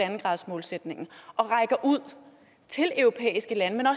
en gradersmålsætningen og rækker ud til europæiske lande